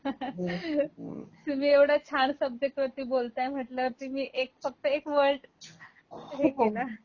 हो ना तुम्ही येव्हडया छान सब्जेक्ट वरती बोलताय म्हणल्यावर मी फक्त मी एक वर्ड युज केला.